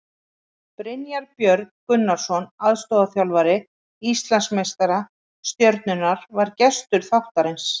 Brynjar Björn Gunnarsson, aðstoðarþjálfari Íslandsmeistara Stjörnunnar, var gestur þáttarins.